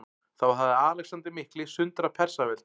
Þá hafði Alexander mikli sundrað Persaveldi.